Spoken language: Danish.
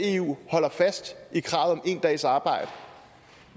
eu holder fast i kravet om en dags arbejde